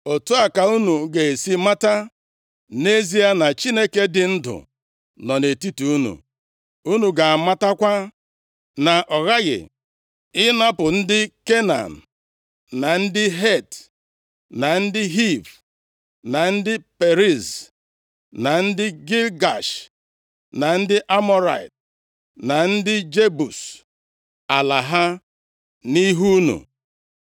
Otu a ka unu ga-esi mata nʼezie na Chineke dị ndụ nọ nʼetiti unu, unu ga-amatakwa na ọ ghaghị ịnapụ ndị Kenan, na ndị Het, na ndị Hiv, na ndị Periz, na ndị Gigash, na ndị Amọrait, na ndị Jebus ala ha nʼihu unu.